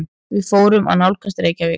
Við förum að nálgast Reykjavík.